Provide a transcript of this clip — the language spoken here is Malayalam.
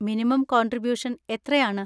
മിനിമം കോൺട്രിബൂഷൻ എത്രയാണ്?